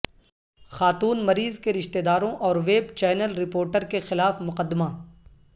خاتون مریض کے رشتہ داروں اور ویب چینل رپورٹر کے خلاف مقدمہ